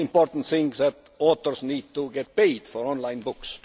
The most important thing is that authors need to be paid for online books.